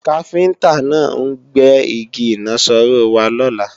Káfíntá náà ń gbé Igi ìnaṣọró wá lọ́la